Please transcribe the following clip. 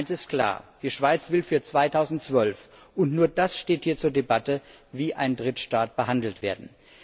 Eines ist klar Die Schweiz will für 2012 und nur das steht hier zur Debatte wie ein Drittstaat behandelt werden.